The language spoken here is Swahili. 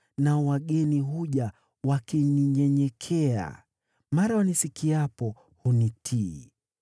nao wageni huja wakininyenyekea, mara wanisikiapo, hunitii.